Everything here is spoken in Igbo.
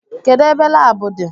Kedụ ebe laabu di?